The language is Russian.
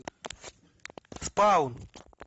спал